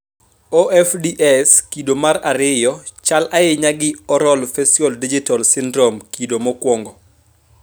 OFDS kido mar ariyo chal ahinya gi oral facial digital syndrome kido mokuongo